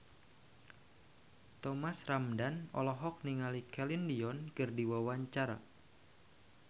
Thomas Ramdhan olohok ningali Celine Dion keur diwawancara